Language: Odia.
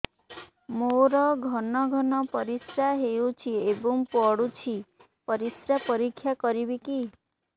ମୋର ଘନ ଘନ ପରିସ୍ରା ହେଉଛି ଏବଂ ପଡ଼ୁଛି ପରିସ୍ରା ପରୀକ୍ଷା କରିବିକି